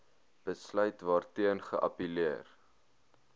besluit waarteen geappelleer